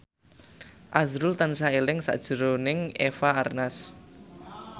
azrul tansah eling sakjroning Eva Arnaz